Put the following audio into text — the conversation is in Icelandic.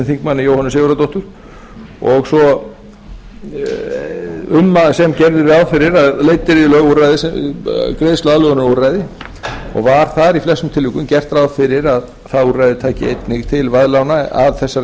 háttvirts þingmanns jóhönnu sigurðardóttur sem gerðu ráð fyrir að leiddu í lög greiðsluaðlögunarúrræði og var þar í flestum tilvikum gert ráð fyrir að það úrræði tæki einnig til veðlána að þessari